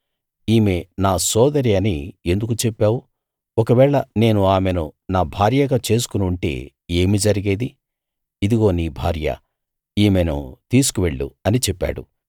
ఈమె నా సోదరి అని ఎందుకు చెప్పావు ఒకవేళ నేను ఆమెను నా భార్యగా చేసుకుని ఉంటే ఏమి జరిగేది ఇదిగో నీ భార్య ఈమెను తీసుకువెళ్ళు అని చెప్పాడు